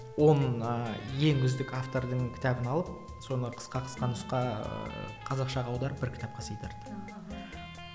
он ыыы ең үздік автордың кітабын алып соны қысқа қысқа нұсқа ыыы қазақшаға аударып бір кітапқа сыйдырды аха